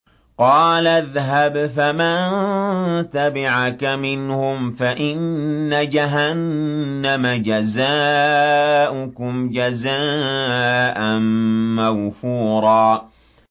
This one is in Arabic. قَالَ اذْهَبْ فَمَن تَبِعَكَ مِنْهُمْ فَإِنَّ جَهَنَّمَ جَزَاؤُكُمْ جَزَاءً مَّوْفُورًا